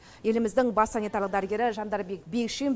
еліміздің бас санитарлық дәрігері жандарбек бекшин